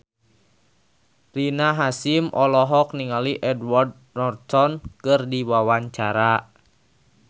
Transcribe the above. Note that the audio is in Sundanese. Rina Hasyim olohok ningali Edward Norton keur diwawancara